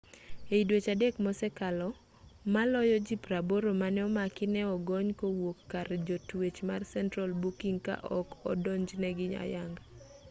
ei dweche 3 mosekalo maloyo ji 80 mane omaki ne ogony kowuok kar jotwech mar central booking ka ok odonjnegi ayanga